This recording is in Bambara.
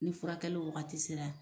Ni furakɛliw waagati sera.